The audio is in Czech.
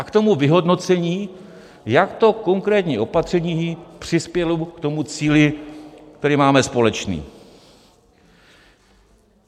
A k tomu vyhodnocení, jak to konkrétní opatření přispělo k tomu cíli, který máme společný.